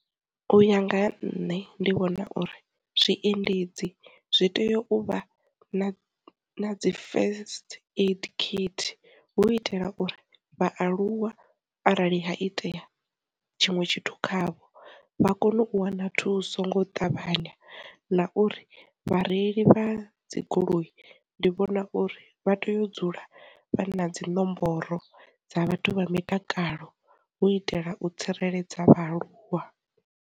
U ya nga ha nṋe ndi vhona uri, zwiendedzi zwi tea u vha na dzi first aid kit hu itela uri vhaaluwa arali ha itea tshiṅwe tshithu khavho vha kone u wana thuso ngo ṱavhanya, na uri vhareili vha dzi goloi ndi vhona uri vha tea u dzula vha na dzi nomboro dza vhathu vha mitakalo u itela u tsireledza vhaaluwa.